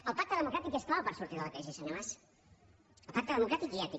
el pacte democràtic és clau per sortir de la crisi senyor mas el pacte democràtic i ètic